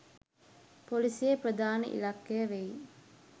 පොලිසියේ ප්‍රධාන ඉලක්කය වෙයි